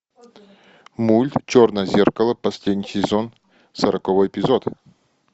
мульт черное зеркало последний сезон сороковой эпизод